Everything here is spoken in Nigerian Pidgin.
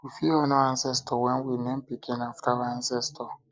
we fit honor ancestor when we name pikin after our ancestor